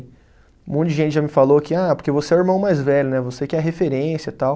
Um monte de gente já me falou que, ah, porque você é o irmão mais velho, né, você que é a referência tal.